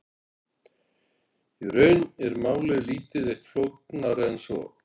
Í raun er málið lítið eitt flóknara en svo.